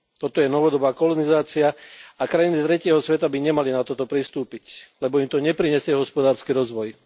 Toto je novodobá kolonizácia a krajiny tretieho sveta by nemali na toto pristúpiť, lebo im to neprinesie hospodársky rozvoj.